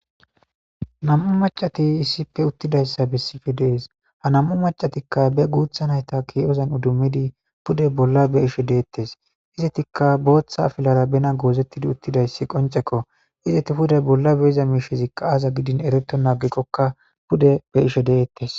nam7u macati issife uttidayssa bessife dees ha nam7u macatikka be guutha nayta ki7ozan udummidi pude bolla be ishe deettes izetikka booththa afilara bena goozettidi uttidayssi qoncekko izeti puday bolla be iza miishezikka aaza gidin ereto naagikkokka pude be ishe deettes